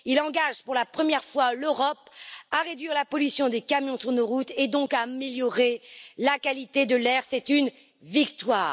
Il engage pour la première fois l'Europe à réduire la pollution des camions sur nos routes et donc à améliorer la qualité de l'air c'est une victoire!